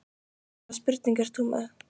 Hvaða spurningu ert þú með?